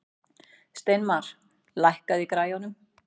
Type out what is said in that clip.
Steinmar, lækkaðu í græjunum.